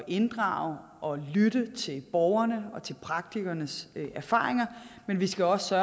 inddrage og lytte til borgerne og til praktikernes erfaringer men vi skal også